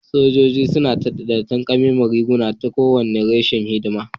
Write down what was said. Sojoji suna da takamaiman rigar kowane reshe na hidima